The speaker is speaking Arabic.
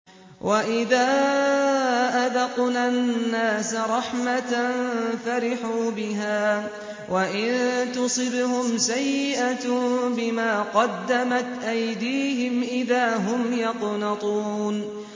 وَإِذَا أَذَقْنَا النَّاسَ رَحْمَةً فَرِحُوا بِهَا ۖ وَإِن تُصِبْهُمْ سَيِّئَةٌ بِمَا قَدَّمَتْ أَيْدِيهِمْ إِذَا هُمْ يَقْنَطُونَ